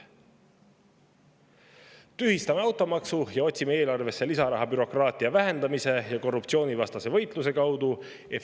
Tühistame automaksu ja otsime eelarvesse lisaraha bürokraatia vähendamise ja korruptsioonivastase võitluse kaudu!